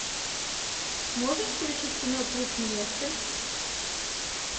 можешь включить кино труп невесты